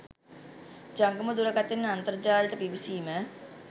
ජංගම දුරකථනයෙන් අන්තර්ජාලයට පිවිසීම